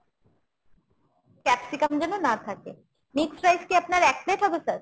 capsicum যেন না থাকে। mixed rice কি আপনার এক plate হবে sir ?